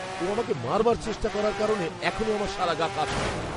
ও আমাকে মারবার চেষ্টা করার কারণে এখনও আমার সারা গা কাঁপছে।